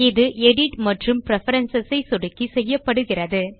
இது எடிட் மற்றும் பிரெஃபரன்ஸ் ஐ சொடுக்கி செய்யப்படுகிறது